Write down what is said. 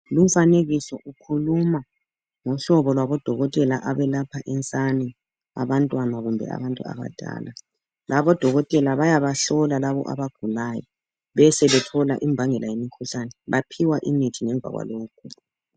Umfanekiso ukhuluma ngehlobo labodokotela abelapha insane, abantwana kumbe abantu abadala. Labo odokotela bayabahlola labo abagulayo besebethola imbangela yemkhuhlane. Baphiwa imithi ngemva kwalokhu.